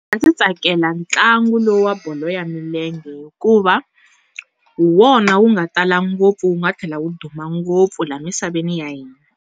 Ndzi tsakela ntlangu lo wa bolo ya milenge hikuva, hi wona wu nga tala ngopfu wu nga tlhela wu duma ngopfu la misaveni ya hina.